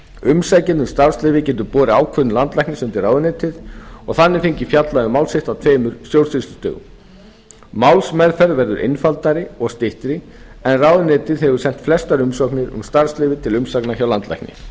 umsækjandi um starfsleyfi getur borið ákvörðun landlæknis undir ráðuneytið og þannig fengið fjallað um mál sitt á tveimur stjórnsýslustigum málsmeðferð verður einfaldari og styttri en ráðuneytið hefur sent flestar umsagnir um starfsleyfi til umsagnar hjá landlækni